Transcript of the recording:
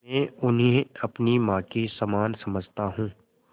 मैं उन्हें अपनी माँ के समान समझता हूँ